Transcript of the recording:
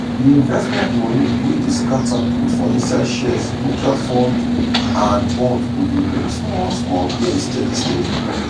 d investment moni wey dey scata put for inside shares mutual funds and bonds go dey bring small small gain steady steady